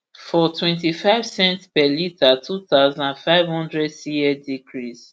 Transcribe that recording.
smnrp for ip twentyfive cents per litre two thousand, five hundred cl decrease